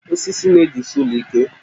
Wood holds the house strong